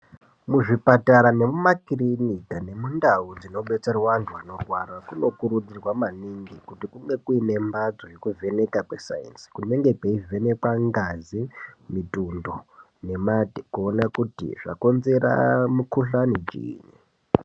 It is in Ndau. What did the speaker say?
Muzvipatara nemumakirinika nendau dzinodetserwa antu anorwara dzinokurudzirwa maningi kuti kunge kuine mbatso yekuvheneka kwesainzi kunenge kweivhenekwa ngazi, mutundo nemate kuona kuti chakonzera mukhuhlane chiinyi.